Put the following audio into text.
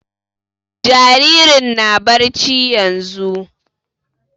Jaririn na barci yanzun